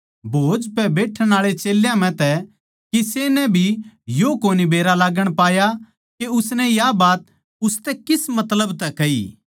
भोज पै बैठण आळे चेल्यां म्ह तै किसे नै भी यो कोनी बेरा लाग्गण पाया के उसनै या बात उसतै किस मतलब तै कही